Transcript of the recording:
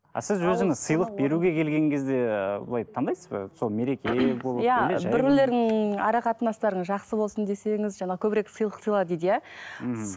а сіз өзіңіз сыйлық беруге келген кезде былай таңдайсыз ба сол мереке болып ара қатынастарыңыз жақсы болсын десеңіз жаңа көбірек сыйлық сыйла дейді иә мхм